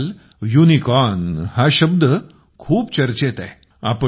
आजकाल युनिकॉर्न शब्द खूप चर्चेत आहे